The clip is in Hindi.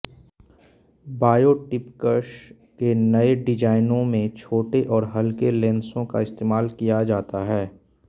बायोप्टिक्स के नए डिजाइनों में छोटे और हल्के लेंसों का इस्तेमाल किया जाता है